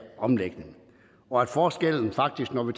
omlægning og at forskellen faktisk når vi